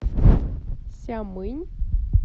сямынь